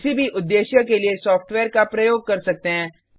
किसी भी उद्देश्य के लिए सॉफ्टवेयर का प्रयोग कर सकते हैं